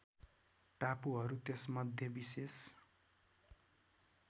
टापुहरू त्यसमध्ये विशेष